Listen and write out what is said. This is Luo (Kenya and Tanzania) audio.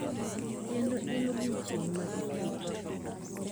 Kendo en odiechieng` ma iketo,